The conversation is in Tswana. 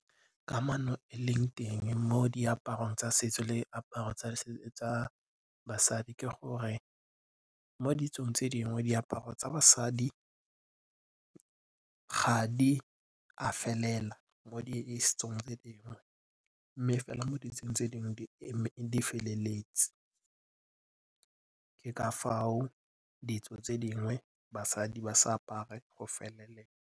Kamano e leng teng mo diaparong tsa setso le diaparo tsa basadi ke gore mo ditsong tse dingwe diaparo tsa basadi ga di a felela mo mme fela mo ditsong tse dingwe di feleletse. Ke ka foo ditso tse dingwe basadi ba sa apare go felela.